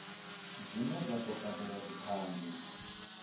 dzine dza do badelwa dzithanzi